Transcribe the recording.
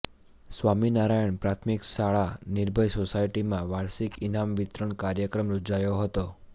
સ્વામિનારાયણ પ્રાથમિક શાળા નિર્ભય સોસાયટીમાં વાર્ષિક ઈનામ વિતરણ કાર્યક્રમ યોજાયો હતો